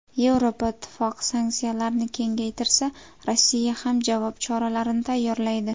Yevropa Ittifoqi sanksiyalarni kengaytirsa Rossiya ham javob choralarini tayyorlaydi.